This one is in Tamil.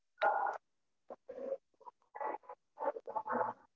அதுக்குலான் money உண்டா